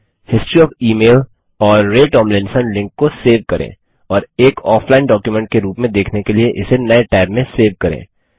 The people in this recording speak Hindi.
history OF email AMP Ray Tomlinson link को सेव करें और एक ऑफलाइन डॉक्युमेंट के रूप में देखने के लिए इसे नये टैब में सेव करें